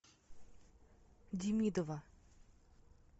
демидова